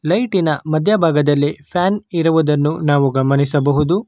ಲೈಟಿನ ಮಧ್ಯಭಾಗದಲ್ಲಿ ಫ್ಯಾನ್ ಇರುವುದನ್ನು ನಾವು ಗಮನಿಸಬಹುದು.